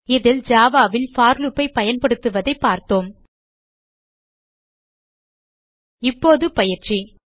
இதில் java ல் for loop ஐ பயன்படுத்துவதைப் பார்த்தோம் இப்போது பயிற்சி